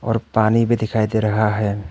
और पानी भी दिखाई दे रहा है।